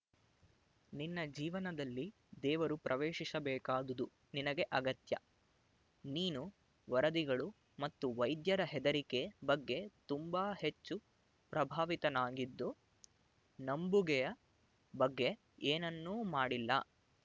ನಿನ್ನ ಜೀವನದಲ್ಲಿ ದೇವರು ಪ್ರವೇಶಿಸಬೇಕಾದುದು ನಿನಗೆ ಅಗತ್ಯ ನೀನು ವರದಿಗಳು ಮತ್ತು ವೈದ್ಯರ ಹೆದರಿಕೆ ಬಗ್ಗೆ ತುಂಬ ಹೆಚ್ಚು ಪ್ರಭಾವಿತನಾಗಿದ್ದು ನಂಬುಗೆಯ ಬಗ್ಗೆ ಏನನ್ನೂ ಮಾಡಿಲ್ಲ